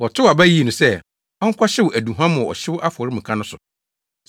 wɔtow aba yii no sɛ, ɔnkɔhyew aduhuam wɔ ɔhyew afɔremuka no so.